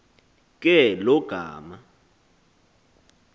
ke lo gama